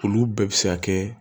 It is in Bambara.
Olu bɛɛ bɛ se ka kɛ